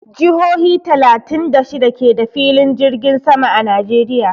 Jihohi talatin da shida ke da filin jirgin sama a Najeriya.